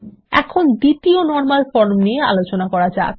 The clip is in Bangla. এখন দ্বিতীয় নরমাল ফরম নিয়ে আলোচনা করা যাক